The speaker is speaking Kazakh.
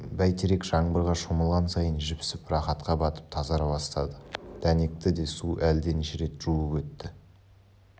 бәйтерек жаңбырға шомылған сайын жіпсіп рақатқа батып тазара бастады дәнекті де су әлденеше рет жуып өтті